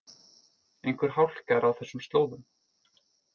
Einhver hálka er á þessum slóðum